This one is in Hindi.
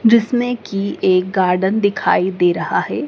जिसमें की एक गार्डन दिखाइ दे रहा है।